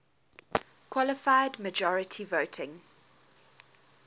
qualified majority voting